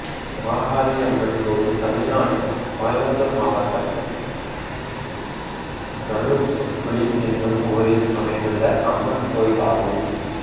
மாகாளியம்மன் கோயில் தமிழ்நாட்டில் கோயம்புத்தூர் மாவட்டம் நல்லூத்துக்குளி என்னும் ஊரில் அமைந்துள்ள அம்மன் கோயிலாகும்